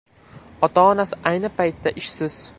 Ota-onasi ayni paytda ishsiz.